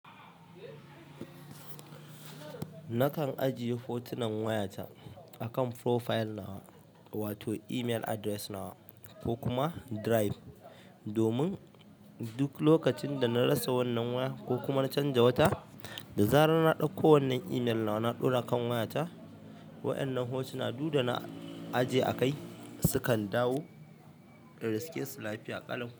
Nikan ajiye hotunan wayata akan profile nawa wato email address nawa ko kuma drive, domin duk lokacin da na rasa wannan waya ko kuma na canja wata, da zarar na ɗauko wannan email nawa na ɗora kan wayata, waɗannan hotuna duk da na ajiye a kai sukan dawo in riske su lafiya ƙalau.